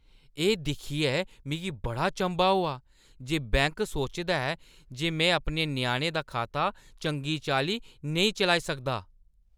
एह् दिक्खियै मिगी बड़ा चंभा होआ जे बैंक सोचदा ऐ जे में अपने ञ्याणे दा खाता चंगी चाल्ली निं चलाई सकदा।